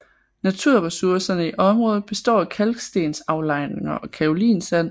Naturressourcerne i området består af kalkstensaflejringer og kaolinsand